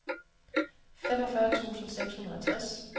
femogfyrre tusind seks hundrede og tres